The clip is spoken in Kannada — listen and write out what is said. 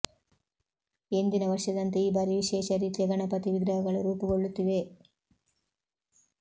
ಎಂದಿನ ವರ್ಷದಂತೆ ಈ ಬಾರಿ ವಿಶೇಷ ರೀತಿಯ ಗಣಪತಿ ವಿಗ್ರಹಗಳು ರೂಪಗೊಳ್ಳುತ್ತಿವೆ